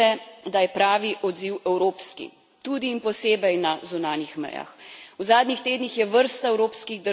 Še enkrat poudarjam strinjam se, da je pravi odziv evropski, tudi in posebej na zunanjih mejah.